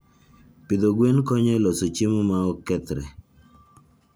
Pidho gwen konyo e loso chiemo ma ok kethre.